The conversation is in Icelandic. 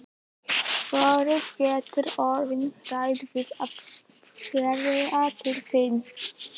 Vorið getur orðið hrætt við að heyra til þín.